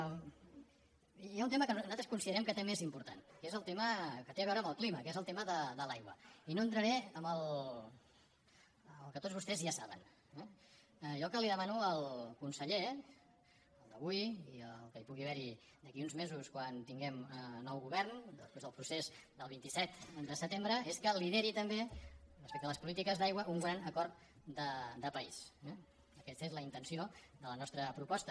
hi ha un tema que nosaltres considerem que també és important que és el tema que té a veure amb el clima que és el tema de l’aigua i no entraré en el que tots vostès ja saben eh jo el que li demano al conseller al d’avui i al que pugui haver hi d’aquí a uns mesos quan tinguem nou govern després del procés del vint set de setembre és que lideri també respecte a les polítiques d’aigua un gran acord de país eh aquesta és la intenció de la nostra proposta